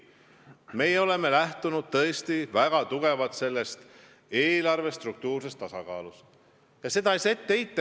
Meie oleme väga kindlalt lähtunud eelarve struktuurse tasakaalu põhimõttest ja seda ei saa ette heita.